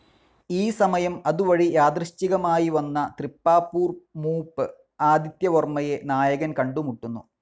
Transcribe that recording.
ഈ സമയം അതുവഴി യാദൃച്ഛികമായി വന്ന തൃപ്പാപ്പൂർമൂപ്പ് ആദിത്യവർമ്മയെ നായകൻ കണ്ടുമുട്ടുന്നു.